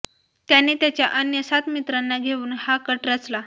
त्याने त्याच्या अन्य सात मित्रांना घेऊन हा कट रचला